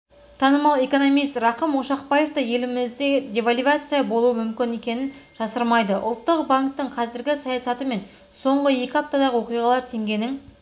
танымал экономист рақым ошақбаев та елімізде девальвация болуы мүмкін екенін жасырмайды ұлттық банктің қазіргі саясаты мен соңғы екі аптадағы оқиғалар теңгенің